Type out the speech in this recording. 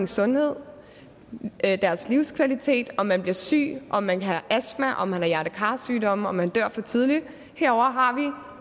sundhed deres livskvalitet om man bliver syg om man har astma om man har hjerte kar sygdomme om man dør for tidligt og herovre har vi